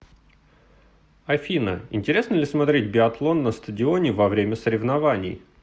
афина интересно ли смотреть биатлон на стадионе во время соревнований